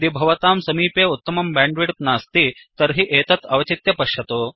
यदि भवतां समीपे उत्तमं बैण्डविड्थ नास्ति तर्हि एतत् अवचित्य पश्यतु